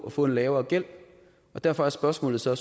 at få en lavere gæld derfor er spørgsmålet så